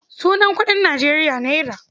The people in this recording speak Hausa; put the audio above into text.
Sunan kuɗin Nijeriya naira.